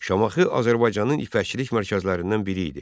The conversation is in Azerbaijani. Şamaxı Azərbaycanın ipəkçilik mərkəzlərindən biri idi.